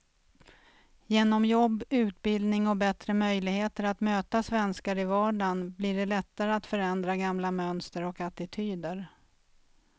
Genom jobb, utbildning och bättre möjligheter att möta svenskar i vardagen blir det lättare att förändra gamla mönster och attityder.